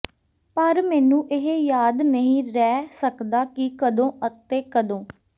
ਪਰ ਮੈਨੂੰ ਇਹ ਯਾਦ ਨਹੀਂ ਰਹਿ ਸਕਦਾ ਕਿ ਕਦੋਂ ਅਤੇ ਕਦੋਂ